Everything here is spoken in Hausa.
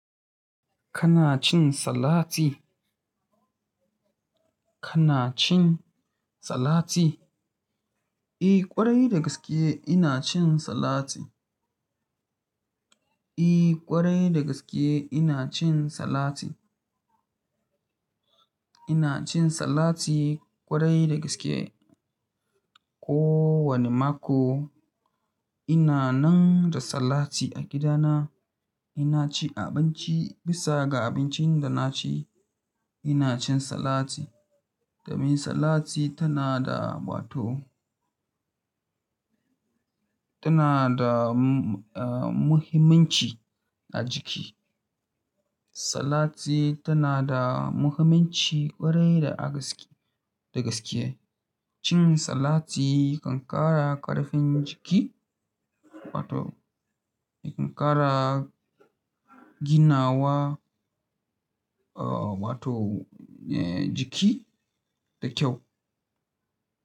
Kana cin salati? Kana cin salati? I, kwarai da gaske ina cin salati. I, kwarai da gaskiya ina cin salati. Ina cin salati kwarai da gaske. Ko wane mako ina nan da salati a gidana. Ina ci a abinci, bisa ga abincin da na ci ina cin salati. Domin salati tana da, wato tana da, uh, muhimmanci a jiki. Salati tana da muhimmanci kwarai da gaske. Cin salati kan ƙara ƙarfin jiki, wato, ya kan ƙara ginawa, uh, wato, eh, jiki da kyau.